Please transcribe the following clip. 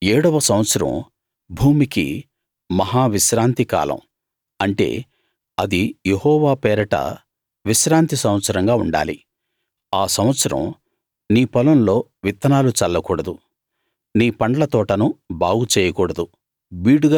ఏడవ సంవత్సరం భూమికి మహా విశ్రాంతి కాలం అంటే అది యెహోవా పేరట విశ్రాంతి సంవత్సరంగా ఉండాలి ఆ సంవత్సరం నీ పొలంలో విత్తనాలు చల్ల కూడదు నీ పండ్ల తోటను బాగు చేయకూడదు